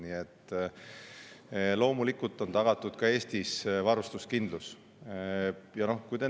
Nii et loomulikult on varustuskindlus tagatud ka Eestis.